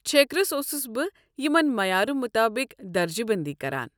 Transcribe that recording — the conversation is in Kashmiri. چھیكرس اوسُس بہٕ یمن معیارٕ مطٲبق درجہٕ بٔنٛدی کران۔